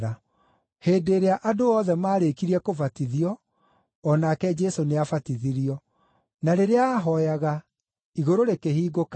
Hĩndĩ ĩrĩa andũ othe maarĩkirie kũbatithio, o nake Jesũ nĩabatithirio. Na rĩrĩa aahooyaga, Igũrũ rĩkĩhingũka,